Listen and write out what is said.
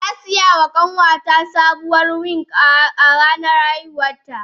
Na saya wa kanwata sabuwar wig a ranar haihuwarta